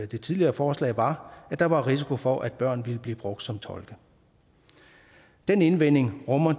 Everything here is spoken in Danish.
det tidligere forslag var at der var risiko for at børn ville blive brugt som tolke den indvending rummer